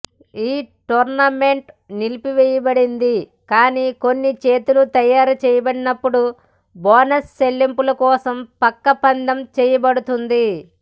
ఈ టోర్నమెంట్ నిలిపివేయబడింది కానీ కొన్ని చేతులు తయారు చేయబడినప్పుడు బోనస్ చెల్లింపు కోసం పక్క పందెం చేయబడుతుంది